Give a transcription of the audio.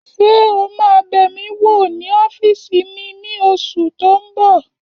Ṣé o máa bẹ̀ mí wò ní ọ́fìsì mi ní oṣù tó n bọ̀?